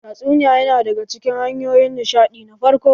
Tatsuniya ya na daga cikin hanyoyin nishaɗi na farko.